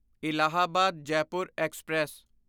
Allahabad Jaipur express